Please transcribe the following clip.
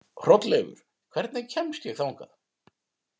Hrolleifur, hvernig kemst ég þangað?